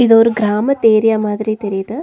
இது ஒரு கிராமத்து ஏரியா மாதிரி தெரியிது.